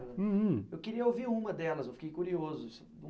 Eu queria ouvir uma delas, eu fiquei curioso.